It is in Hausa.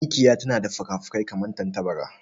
Mikiya tana da fukafuki kamar tantabara.